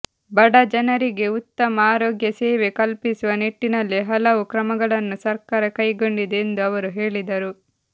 ಬಡ ಜನರಿಗೆ ಉತ್ತಮ ಆರೋಗ್ಯ ಸೇವೆ ಕಲ್ಪಿಸುವ ನಿಟ್ಟಿನಲ್ಲಿ ಹಲವು ಕ್ರಮಗಳನ್ನು ಸರ್ಕಾರ ಕೈಗೊಂಡಿದೆ ಎಂದು ಅವರು ಹೇಳಿದರು